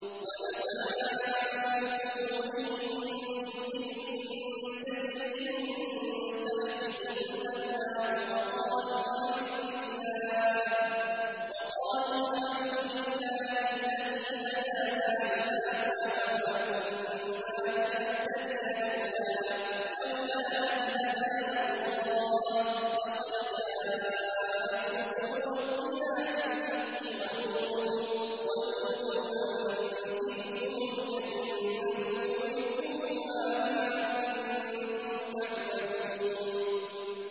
وَنَزَعْنَا مَا فِي صُدُورِهِم مِّنْ غِلٍّ تَجْرِي مِن تَحْتِهِمُ الْأَنْهَارُ ۖ وَقَالُوا الْحَمْدُ لِلَّهِ الَّذِي هَدَانَا لِهَٰذَا وَمَا كُنَّا لِنَهْتَدِيَ لَوْلَا أَنْ هَدَانَا اللَّهُ ۖ لَقَدْ جَاءَتْ رُسُلُ رَبِّنَا بِالْحَقِّ ۖ وَنُودُوا أَن تِلْكُمُ الْجَنَّةُ أُورِثْتُمُوهَا بِمَا كُنتُمْ تَعْمَلُونَ